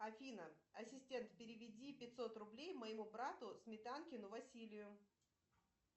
афина ассистент переведи пятьсот рублей моему брату сметанкину василию